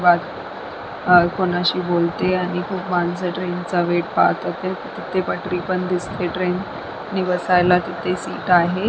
वाट आ कुणाशी बोलते आणि खूप माणसपण ट्रेन च वेट तिथे पटरी पण दिसते ट्रेननि बसायला तिथे सीट आहे.